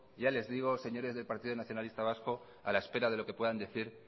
ya les digo señores del partido nacionalista vasco a la espera de lo que puedan decir